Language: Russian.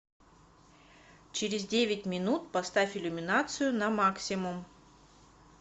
через девять минут поставь иллюминацию на максимум